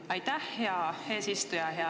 Aitäh, hea eesistuja!